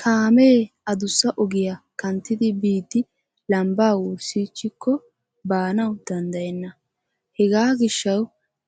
Kaame addussa ogiyaa kanttidi biidi lambba wurssichchiko baanaw danddayena. Hega gishshaw